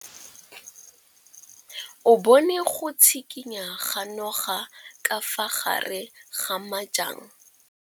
O bone go tshikinya ga noga ka fa gare ga majang.